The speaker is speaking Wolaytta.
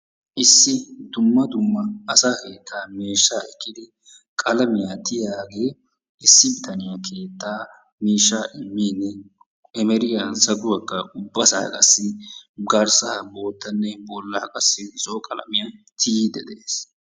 issi dumma dumma asaa keettaa miishshaa ekkidi qalamiyaa tiyiyaagee issi bitaniyaa keettaa mishshaa emeriyaa zaguwaakka ubbasaa qassi garssaa bottane bollaa zo'o qalamiyaan tiiyiidi de'ees.